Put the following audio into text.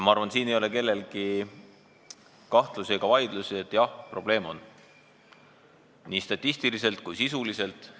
Ma arvan, et siin ei ole kellelgi kahtlusi ega vaidlusi – jah, probleem on, seda nii statistiliselt kui sisuliselt.